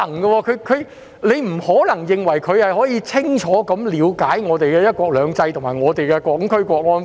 我們不可能認為他能夠清楚了解香港的"一國兩制"和《香港國安法》。